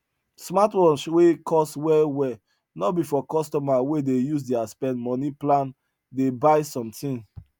smartwatch wey cost well well no be for customer wey dey use their spend money plan dey buy something